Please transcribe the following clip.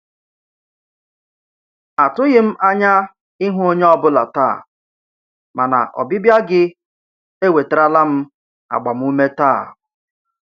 Atụghị m anya ịhụ onye ọ bụla taa, mana ọbịbịa gị ewetarala m agbamume taa.